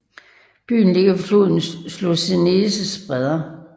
Byen ligger ved floden Slocenes bredder